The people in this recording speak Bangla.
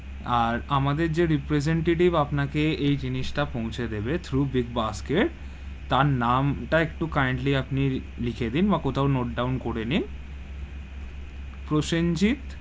আর আমাদের যে representative আপনাকে এই জিনিস তা পচে দেবে, through বিগ বাস্কেট, তার নাম তা একটু kindly আপনি একটু লিখে নিন বা কোথাও note down করে নিন, প্রসেনজিৎ.